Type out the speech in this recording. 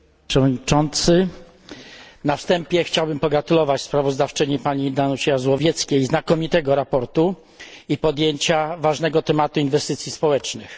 Panie Przewodniczący! Na wstępie chciałbym pogratulować sprawozdawczyni, Pani Danucie Jazłowieckiej, znakomitego sprawozdania i podjęcia ważnego tematu inwestycji społecznych.